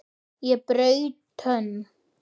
Ég braut tönn!